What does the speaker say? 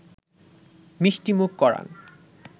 মিষ্টিমুখ করান